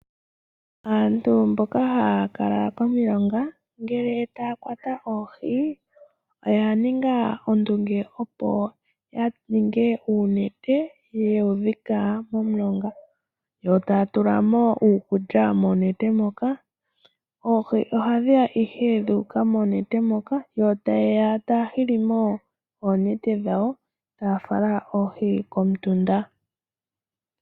Aantu mboka haya kala komilonga ngele taya kwata oohi, oya ninga ondunge opo ya ninge uunete ye wu dhika momulonga. Yo taya tulamo uukulya monete moka, oohi ohadhi ya ihe dha uka monete moka yo taye ya taya hilimo oonete dhawo, taya fala oohi komutunda.